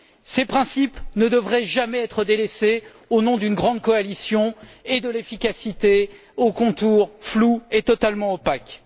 Ces principes ne devraient jamais être délaissés au nom d'une grande coalition et d'une efficacité aux contours flous et totalement opaques.